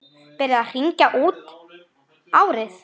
Verið að hringja út árið.